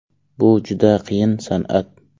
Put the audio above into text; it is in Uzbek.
Bu juda qiyin san’at.